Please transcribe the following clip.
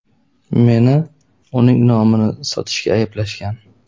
Meni uning nomini sotishda ayblashgan.